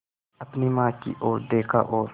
अपनी माँ की ओर देखा और